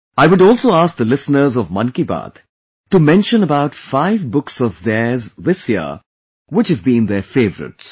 I would also ask the listeners of 'Mann Ki Baat' to mention about five books of theirs this year, which have been their favourites